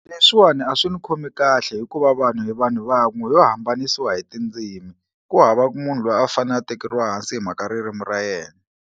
Leswiwani a swi ni khomi kahle hikuva vanhu hi vanhu van'we yo hambanisiwa hi tindzimi ku hava ku munhu loyi a fanele a tekeriwa hansi hi mhaka ririmi ra yena.